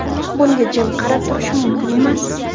Bunga jim qarab turish mumkin emas.